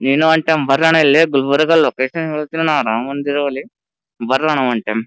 ನೀನು one time ಬರ್ರಣ ಇಲ್ಲೆ ಗುಲರ್ಬ ಲೊಕೇಶನ್ ಹೆಲ್ತಣಿ ಅಣ್ಣ ರಾಮ ಮಂದಿರ ಬಲ್ಲಿ ಬರ್ರಣ ಒನ್ ಟೈಮ್ --